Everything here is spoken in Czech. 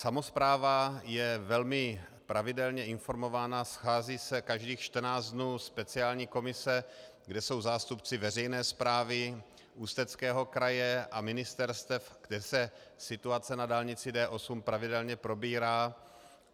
Samospráva je velmi pravidelně informována, schází se každých 14 dnů speciální komise, kde jsou zástupci veřejné správy Ústeckého kraje a ministerstev, kde se situace na dálnici D8 pravidelně probírá.